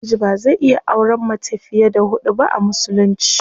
Namiji bazai iya auren mata fiye da hudu ba a musulunci.